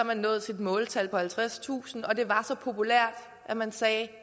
man nåede sit måltal på halvtredstusind og det var så populært at man sagde at